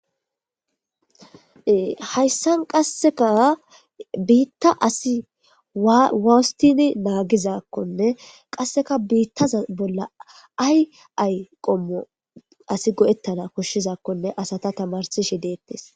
Hayssan qasseka biitta asi wawstini naagizakkonne qasseka biittaza bolla ay ay qommo asi go7ettana koshshizakkonne asata tamarsishi deettes.